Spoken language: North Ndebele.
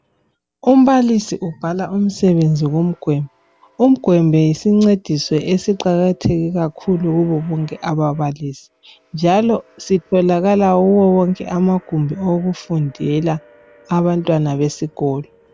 Umbalisi ubhala umsebenzi ngomgwembe. Umgwembe yisincediso esiqakatheke kakhulu kubo bonke ababalisi. Njalo sitholakala kuwo wonke amagumbi okufundelwa awabantwana besikolo.